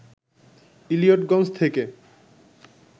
ইলিয়টগঞ্জ থেকে